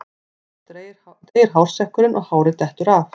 Þá deyr hársekkurinn og hárið dettur af.